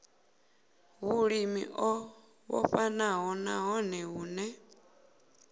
vhulimi o vhofhanaho nahone vhune